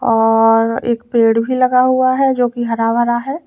और एक पेड़ भी लगा हुआ है जो कि हरा भरा है।